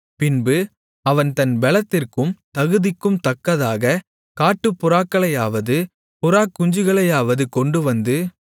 பின்பு அவன் தன் பெலத்திற்கும் தகுதிக்கும் தக்கதாக காட்டுப்புறாக்களையாவது புறாக்குஞ்சுகளையாவது கொண்டுவந்து